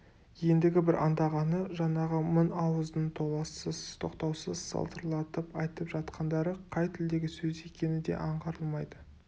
ендігі бір аңдағаны жаңағы мың ауыздың толассыз тоқтаусыз салдырлатып айтып жатқандары қай тілдегі сөз екені де аңғарылмайды